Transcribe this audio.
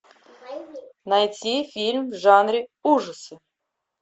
найти фильм в жанре ужасы